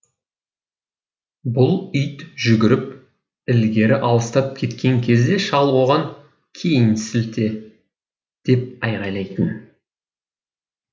бұл ит жүгіріп ілгері алыстап кеткен кезде шал оған кейін сілте деп айқайлайтын